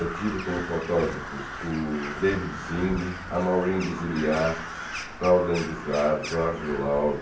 Eu tive como fotógrafos o David Zinghi, a Maurine Basiliati, Claude Andujar, Jorge Love,